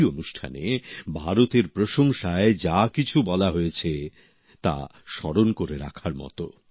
এই অনুষ্ঠানে ভারতের প্রশংসায় যা কিছু বলা হয়েছে তা স্মরণ করে রাখার মত